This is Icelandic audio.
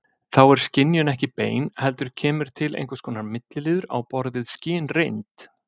Þá er skynjunin ekki bein heldur kemur til einhvers konar milliliður á borð við skynreynd.